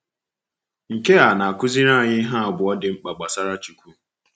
Nke a na-akụziri anyị ihe abụọ dị mkpa gbasara Chukwu.